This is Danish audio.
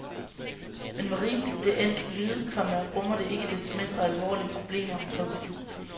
Men hvor rimeligt det end kan lyde, komma rummer det ikke desto mindre alvorlige problemer. punktum